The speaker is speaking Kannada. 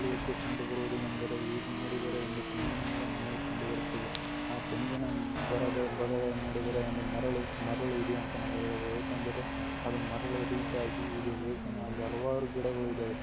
ಎದ್ದು ಕಂಡು ಬರುವ ಏನ್ ಅಂದರೆ ಇಲ್ಲಿ ನೋಡಿದರ ಒಂದು ತೆಂಗಿನ ಮರ ನಮಗೆ ಕಂಡು ಬರುತ್ತಿದೆ. ಆ ತೆಂಗಿನ ಮರದ ನೋಡಿದರೆ ಒಂದು ಮರಳು ಮರಳು ಇದೆ ಅಂತ ನಾವು ಹೇಳಬಹುದು ಏಕಂದರೆ ಅದು ಮರಳು ರೀತಿಯಾಗಿ ಇದೆ ಏಕೆಂದರೆ ಇಲ್ಲಿ ಹಲವಾರು ಗಿಡಗಳು ಇದವೆ.